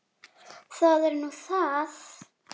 Það er nú það?